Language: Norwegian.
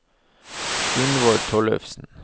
Gunvor Tollefsen